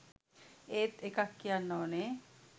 ඒත් එකක් කියන්න ඕනේ